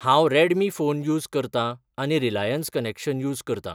हांव Redmi phone use करतां आनी रिलायंस कनेक्शन यूज करतां.